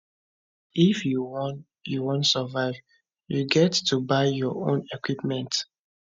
if you wan you wan survive you get to buy your own equipment